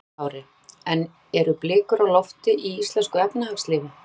Höskuldur Kári: En eru blikur á lofti í íslensku efnahagslífi?